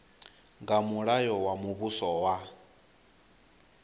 nga mulayo wa muvhuso wa